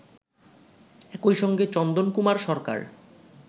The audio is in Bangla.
একইসঙ্গে চন্দন কুমার সরকার